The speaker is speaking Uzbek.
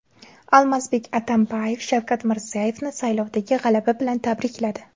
Almazbek Atambayev Shavkat Mirziyoyevni saylovdagi g‘alaba bilan tabrikladi.